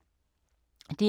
DR K